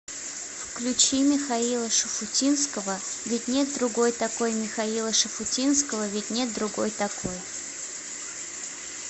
включи михаила шуфутинского ведь нет другой такой михаила шафутинского ведь нет другой такой